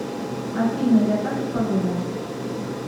афина я так и подумал